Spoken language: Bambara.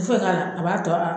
Ti foye ka la a b'a tɔ a